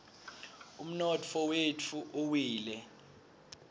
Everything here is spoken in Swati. umnotfo wetfu uwile